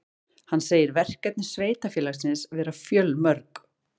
Hann segir verkefni sveitarfélagsins vera fjölmörg